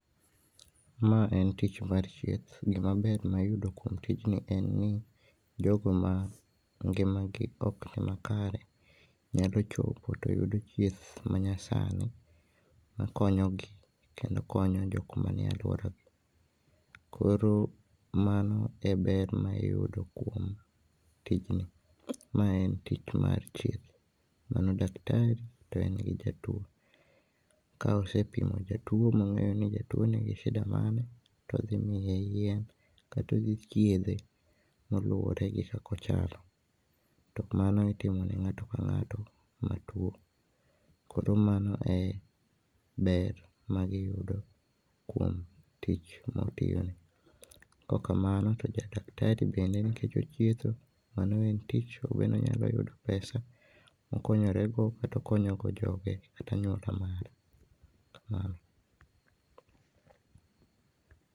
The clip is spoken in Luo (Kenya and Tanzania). Maa en tich chieth, gima ber mayudo kuom tijni en ni jogo mangimagi ok nimakare nyalo chopo toyudo chieth manyasani makonyogi kendo konyo jok manie alwora .Koro mano e ber ma iyudo kuom tijni. Mae en tich mar chieth, mano daktari to en gi jatuo, ka osee pimo jatuo mong'eyo ni jatuo nigi shida mane todhi miye yien kata odhi chiedhe kaluwore gi kaka ochalo tomano itimo ne ng'ato ka ng'ato matuo. Koro mano e ber magiyudo kuom tich motiyoni .Kaok kamano to jadaktari bende nikech ochietho, mano en tich mabende onyalo yudo pesa mokonyore go kata okonyo go joge kata anyuala mare. Kamano.